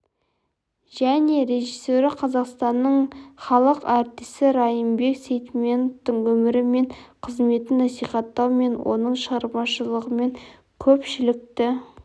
және режиссері қазақстанның халық артисі райымбек сейтметовтің өмірі мен қызметін насихаттау мен оның шығармашылығымен көпшілікті